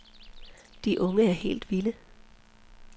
De unge er helt vilde.